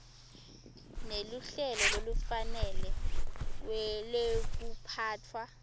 neluhlelo lolufanele lwekuphatfwa